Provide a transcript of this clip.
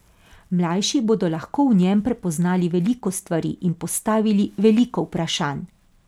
Mlajši bodo lahko v njem prepoznali veliko stvari in postavili veliko vprašanj.